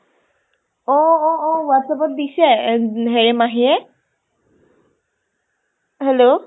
অ অ অ whatsapp ত দিছে ad হেৰি মাহীয়ে। hello